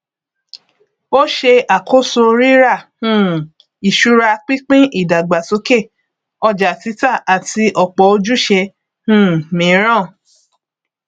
ó ṣe àkóso ríra um ìṣura pínpín ìdàgbàsókè ọjàtítà àti ọpọ ojúṣe um míràn